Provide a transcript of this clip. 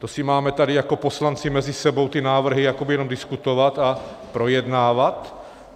To si máme tady jako poslanci mezi sebou ty návrhy jakoby jenom diskutovat a projednávat?